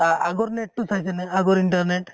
আ আগৰ net টো চাইছে নে আগৰ internet